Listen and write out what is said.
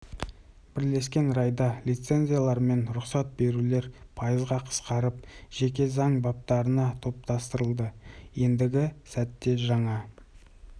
бірлескен райда лицензиялар мен рұқсат берулер пайызға қысқарып жеке заң баптарына топтастырылды ендігі сәтте жаңа